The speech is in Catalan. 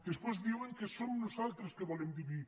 després diuen que som nosaltres que volem dividir